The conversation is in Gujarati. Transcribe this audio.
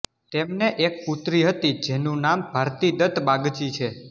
તેમને એક પુત્રી હતી જેનું નામ ભારતી દત્ત બાગચી છે